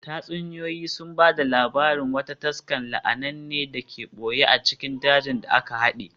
Tatsuniyoyi sun ba da labarin wata taska la'ananne da ke ɓoye a cikin dajin da aka haɗe.